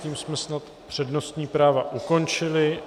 Tím jsme snad přednostní práva ukončili.